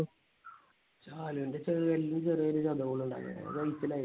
ശാലുന്റെ ചെറുവിരലിൽ ചെറിയൊരു ചതവ് ഇണ്ട്.